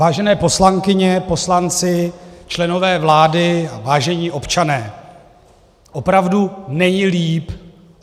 Vážené poslankyně, poslanci, členové vlády, vážení občané, opravdu není líp.